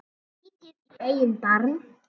Lítið í eigin barm.